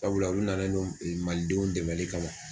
Sabula ulu nanen no malidenw dɛmɛnli kama.